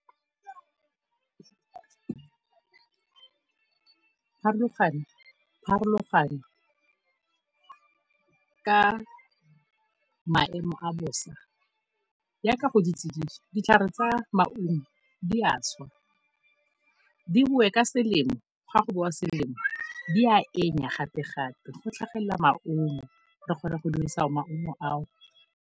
Pharologano ka maemo a bosa jaaka go le tsididi, ditlhare tsa maungo di a swa, di boe ka selemo fa go bowa selemo di a gapegape, go tlhagelela maungo, re kgona go dirisa maungo ao.